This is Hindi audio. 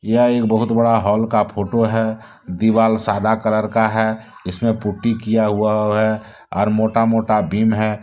यह एक बहुत बड़ा हॉल का फोटो है। दिवाल सादा कलर का है इसमें पुट्टी किया हुआ है और मोटा मोटा बिम है ।